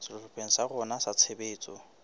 sehlopheng sa rona sa tshebetso